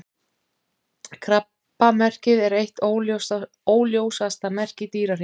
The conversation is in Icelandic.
Krabbamerkið er eitt óljósasta merki Dýrahringsins.